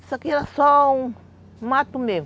Isso aqui era só um mato mesmo.